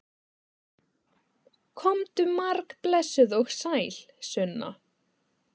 Komdu margblessuð og sæl, Sunna!